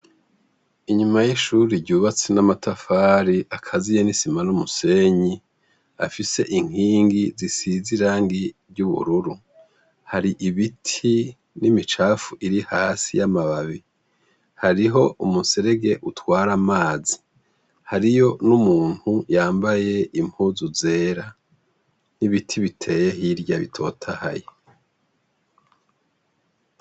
Inyuma y'ishuri ryubatse n'amatafari ,akaziye n'isima n'umusenyi, afise inkingi zisize irangi ry'ubururu, hari ibiti n'imicafu iri hasi y'amababi, hariho umuserege utwara amazi hariyo n'umuntu yambaye impuzu zera n'ibiti biteye hirya bitotahaye.